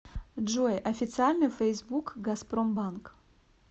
джой официальный фейсбук газпромбанк